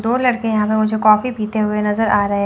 दो लड़के यहां पर मुझे कॉफी पीते हुए नजर आ रहे--